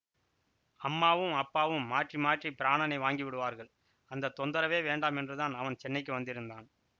அம்மாவும் அப்பாவும் மாற்றி மாற்றி பிராணனை வாங்கி விடுவார்கள் அந்த தொந்தரவே வேண்டாமென்றுதான் அவன் சென்னைக்கு வந்திருந்தான்